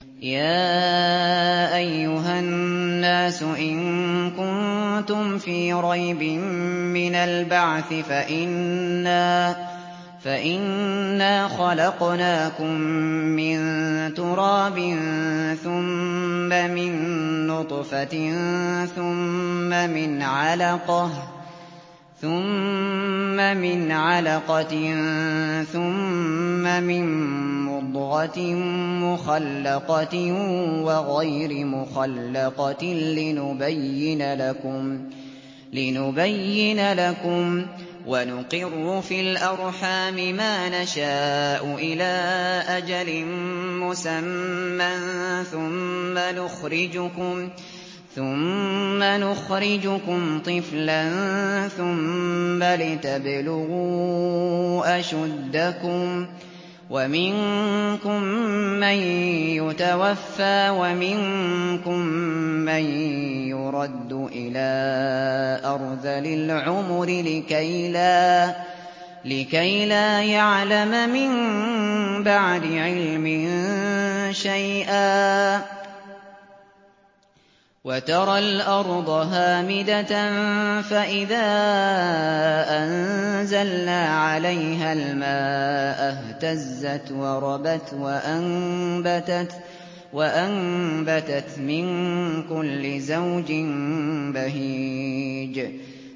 يَا أَيُّهَا النَّاسُ إِن كُنتُمْ فِي رَيْبٍ مِّنَ الْبَعْثِ فَإِنَّا خَلَقْنَاكُم مِّن تُرَابٍ ثُمَّ مِن نُّطْفَةٍ ثُمَّ مِنْ عَلَقَةٍ ثُمَّ مِن مُّضْغَةٍ مُّخَلَّقَةٍ وَغَيْرِ مُخَلَّقَةٍ لِّنُبَيِّنَ لَكُمْ ۚ وَنُقِرُّ فِي الْأَرْحَامِ مَا نَشَاءُ إِلَىٰ أَجَلٍ مُّسَمًّى ثُمَّ نُخْرِجُكُمْ طِفْلًا ثُمَّ لِتَبْلُغُوا أَشُدَّكُمْ ۖ وَمِنكُم مَّن يُتَوَفَّىٰ وَمِنكُم مَّن يُرَدُّ إِلَىٰ أَرْذَلِ الْعُمُرِ لِكَيْلَا يَعْلَمَ مِن بَعْدِ عِلْمٍ شَيْئًا ۚ وَتَرَى الْأَرْضَ هَامِدَةً فَإِذَا أَنزَلْنَا عَلَيْهَا الْمَاءَ اهْتَزَّتْ وَرَبَتْ وَأَنبَتَتْ مِن كُلِّ زَوْجٍ بَهِيجٍ